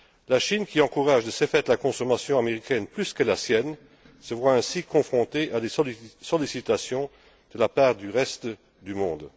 La Chine, qui encourage de ce fait la consommation américaine plus que la sienne, se voit ainsi confrontée à des sollicitations de la part du reste du monde.